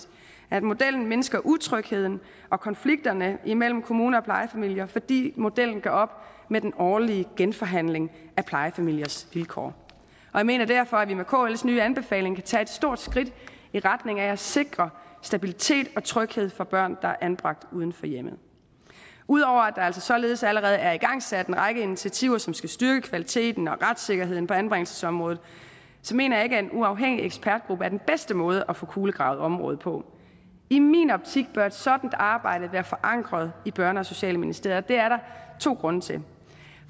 at modellen mindsker utrygheden og konflikterne mellem kommuner og plejefamilier fordi modellen gør op med den årlige genforhandling af plejefamiliers vilkår jeg mener derfor at vi med kls nye anbefalinger kan tage et stort skridt i retning af at sikre stabilitet og tryghed for børn der er anbragt uden for hjemmet ud over at der altså således allerede er igangsat en række initiativer som skal styrke kvaliteten og retssikkerheden på anbringelsesområdet så mener jeg ikke at en uafhængig ekspertgruppe er den bedste måde at få kulegravet området på i min optik bør et sådant arbejde være forankret i børne og socialministeriet der to grunde til